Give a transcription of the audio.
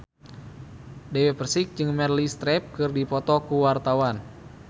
Dewi Persik jeung Meryl Streep keur dipoto ku wartawan